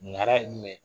Mara ye jumɛn ye